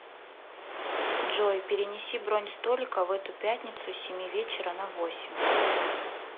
джой перенеси бронь столика в эту пятницу с семи вечера на восемь